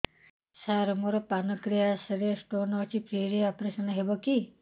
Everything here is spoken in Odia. ସାର ମୋର ପାନକ୍ରିଆସ ରେ ସ୍ଟୋନ ଅଛି ଫ୍ରି ରେ ଅପେରସନ ହେବ କି